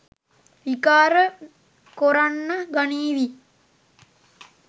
විකාර කොරන්න ගනීවි.